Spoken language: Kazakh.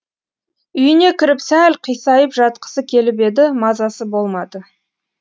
үйіне кіріп сәл қисайып жатқысы келіп еді мазасы болмады